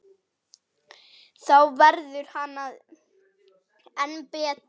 Þá verður hann enn betri.